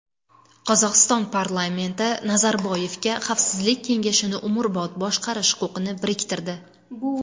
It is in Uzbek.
Qozog‘iston parlamenti Nazarboyevga Xavfsizlik kengashini umrbod boshqarish huquqini biriktirdi.